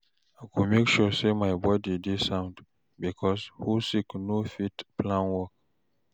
I go mek sure say my body dey sound bikos who sick no fit plan work